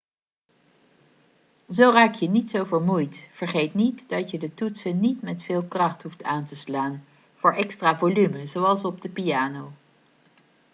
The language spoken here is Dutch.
zo raak je niet zo vermoeid vergeet niet dat je de toetsen niet met veel kracht hoeft aan te slaan voor extra volume zoals op de piano